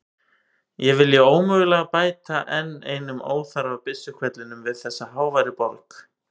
Ég vilji ómögulega bæta enn einum óþarfa byssuhvellinum við þessa háværu borg.